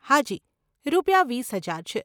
હાજી, રૂપિયા વીસ હજાર છે.